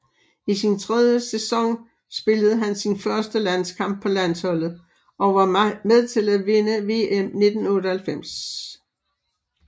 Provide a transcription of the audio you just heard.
I sin tredje sæson spillede han sin første landskamp på landsholdet og var med til at vinde VM 1998